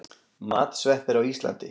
Matsveppir á Íslandi.